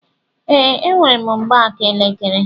Ee, enwerem mgbaaka elekere